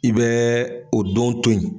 I bɛ o don toyi.